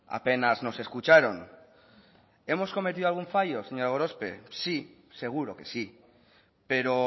apenas nos escucharon hemos cometido algún fallo señora gorospe sí seguro que sí pero